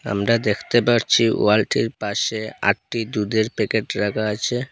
আমরা দেখতে পাচ্ছি ওয়ালটির পাশে আটটি দুধের প্যাকেট রাখা আছে।